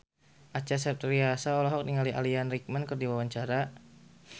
Acha Septriasa olohok ningali Alan Rickman keur diwawancara